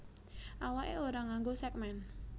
Awaké ora nganggo sègmèn